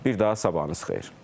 Bir daha sabahınız xeyir.